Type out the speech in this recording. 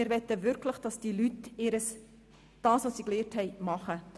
Wir möchten wirklich, dass die Leute das tun, was sie gelernt haben.